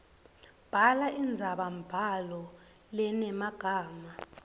bhala indzabambhalo lenemagama